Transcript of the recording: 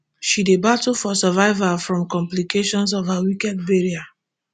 she dey battle for survival from complication of her wicked burial